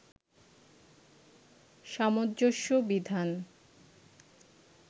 সামঞ্জস্য বিধান